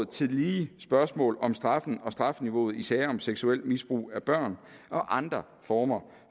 tillige spørgsmål om strafferammen og strafniveauet i sager om seksuelt misbrug af børn og andre former